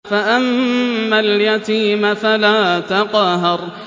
فَأَمَّا الْيَتِيمَ فَلَا تَقْهَرْ